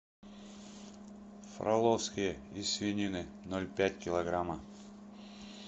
флоровские из свинины ноль пять килограмма